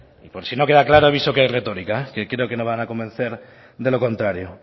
por si no queda claro aviso que es retorica que creo que no van a convencer de lo contrario